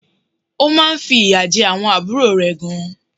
Ó má nfi ìyà je àwon àbúrò rè gan